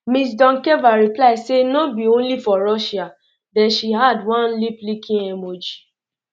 ms doncheva reply say no um be only for um russia den she add one liplicking emoji